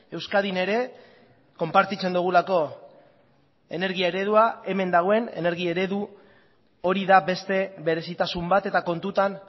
euskadin ere konpartitzen dugulako energia eredua hemen dagoen energi eredu hori da beste berezitasun bat eta kontutan